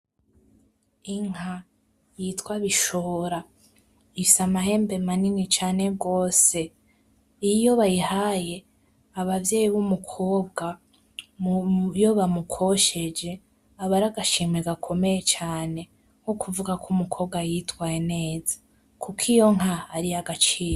Inka yitwa bishora inka nini cane gose, iyo bahihaye abavyeyi bumukobwa iyo bamukosheje aba aragashimwe gakomeye cane nukuvuga ko umukobwa yitwaye neza kuko iyo nka ariyagaciro.